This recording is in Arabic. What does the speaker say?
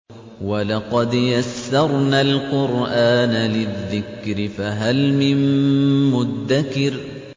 وَلَقَدْ يَسَّرْنَا الْقُرْآنَ لِلذِّكْرِ فَهَلْ مِن مُّدَّكِرٍ